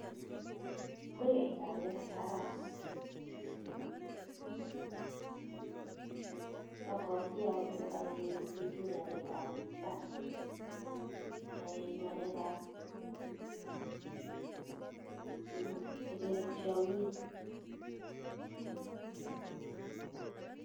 En pichait agere baraisit, abwati ale yoe chichi ng'alekap mbar, yoe ng'aleakap, che kere tiong'ik.